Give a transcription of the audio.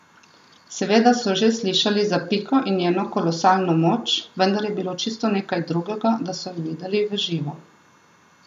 Seveda so že slišali za Piko in njeno kolosalno moč, vendar je bilo čisto nekaj drugega, da so jo videli v živo.